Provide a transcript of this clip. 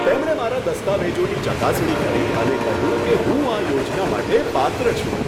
તેમણે મારા દસ્તાવેજોની ચકાસણી કરી અને કહ્યું કે હું આ યોજના માટે પાત્ર છું.